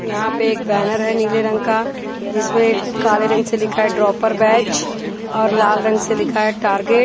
यहाँ पे एक बैनर हैनीले रंग का जिसमें काले रंग से लिखा है ड्रॉपर बैच और लाल रंग से लिखा है टारगेट --